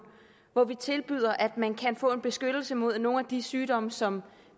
hvor vi tilbyder at man kan få en beskyttelse mod nogle af de sygdomme som